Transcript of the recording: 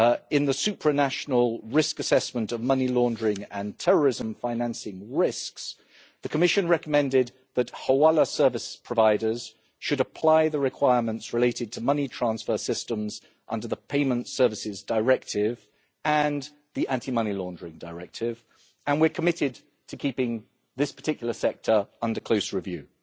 In the supranational risk assessment of money laundering and terrorism financing risks, the Commission recommended that hawala service providers should apply the requirements related to money transfer systems under the payment services directive and the Anti Money Laundering Directive, and we are committed to keeping this particular sector under close review.